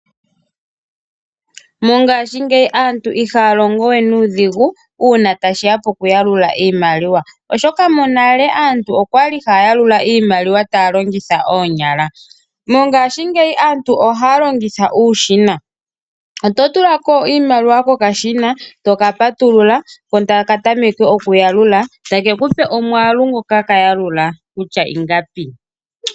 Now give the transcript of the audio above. Mongaashi ngeyi aantu ihaa longowe nuudhigu uuna ngele tashiya poku yalula iimaliwa, oshoka monale aantu oyali haayalula iimaliwa taalongitha oonyala. Mongaashi ngeyi aantu ohaalongitha uushina ototulako iimaliwa kokashina toka patulula ko ta ka tameke oku yalula eta kekupe omwaalu ngoka kaya lula.